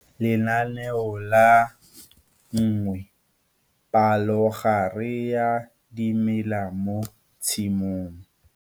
Lenaneo la 1, palogare ya dimela mo tshimong.